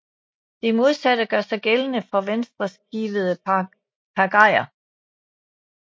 Det modsatte gør sig gældende for venstreskivede pagajer